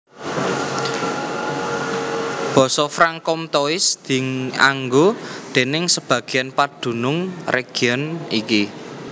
Basa Franc comtois dianggo déning sebagéan padunung région iki